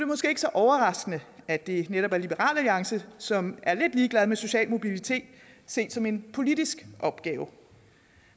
måske ikke så overraskende at det netop er liberal alliance som er lidt ligeglade med social mobilitet set som en politisk opgave